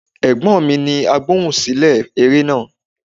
Ẹ̀gbọ́n mi ni Agbohùnsílẹ̀ eré náà.